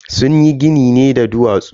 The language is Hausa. Sunyi ginin ne da duwatsu.